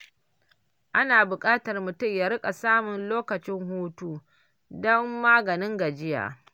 Ana buƙatar mutum ya riƙa samun lokacin hutu don maganin gajiya.